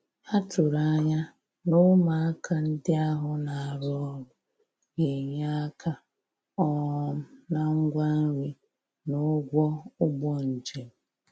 A tụ̀rụ̀ ànyà na ụmụàkà ndí ahụ̀ na-arụ́ ọrụ gā-ényè aka um na ngwá nri na ụ̀gwọ̀ ùgbò njem.